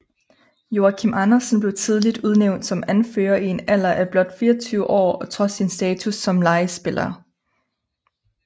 Joachim Andersen blev tidligt udnævnt som anfører i en alder af blot 24 år og trods sin status som lejespiller